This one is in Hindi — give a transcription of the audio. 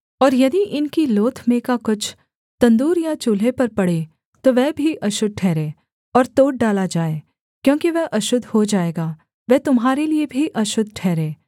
और यदि इनकी लोथ में का कुछ तंदूर या चूल्हे पर पड़े तो वह भी अशुद्ध ठहरे और तोड़ डाला जाए क्योंकि वह अशुद्ध हो जाएगा वह तुम्हारे लिये भी अशुद्ध ठहरे